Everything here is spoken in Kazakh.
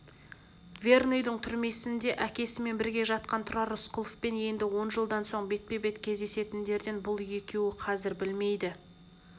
верныйдың түрмесінде әкесімен бірге жатқан тұрар рысқұловпен енді он жылдан соң бетпе-бет кездесетіндерін бұл екеуі қазір білмейді